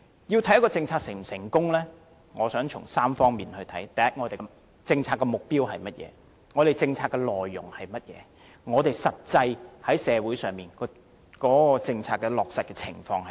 一項政策是否成功，我認為要從3方面作出衡量：第一，政策目標是甚麼；第二，政策內容是甚麼；第三，實際上在社會的落實情況。